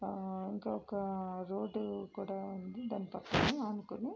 ఆ ఇంకొక రోడ్డు కూడా ఉంది దాని పక్కనే ఆనుకొని.